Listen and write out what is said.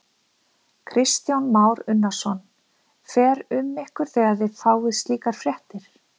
Kristján Már Unnarsson: Fer um ykkur þegar þið fáið slíkar fréttir?